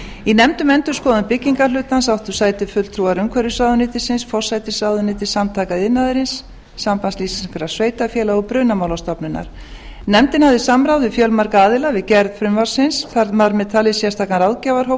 í nefnd um endurskoðun byggingarhlutans áttu sæti fulltrúar umhverfisráðuneytisins forsætisráðuneytisins samtaka iðnaðarins sambands íslenskra sveitarfélaga og brunamálastofnunar nefndin hafði samráð við fjölmarga aðila við gerð frumvarpsins þar með talið sérstakan ráðgjafarhóp sem